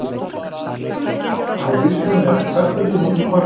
Með þessu er gott að hafa hrísgrjón eða jafnvel kartöflu mús úr pakka.